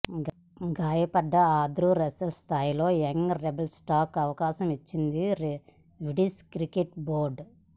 గాయపడ్డ Andre Russell స్థానంలో young rebel స్టార్కు అవకాశం ఇచ్చింది విండీస్ క్రికెట్ బోర్డు